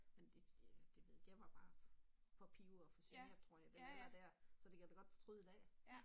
Men det ja, det ved, jeg var bare for pivet og for svag og tror jeg den alder der, så det kan jeg da godt fortryde i dag